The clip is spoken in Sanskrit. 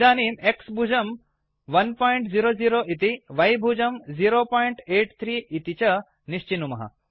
इदानीं X भुजं 100 इति Y भुजं 083 इति च निश्चिनुमः